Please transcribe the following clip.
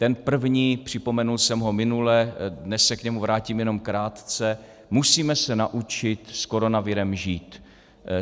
Ten první, připomenul jsem ho minule, dnes se k němu vrátím jenom krátce - musíme se naučit s kononavirem žít.